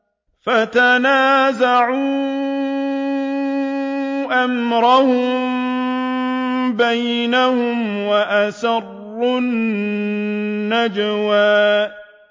فَتَنَازَعُوا أَمْرَهُم بَيْنَهُمْ وَأَسَرُّوا النَّجْوَىٰ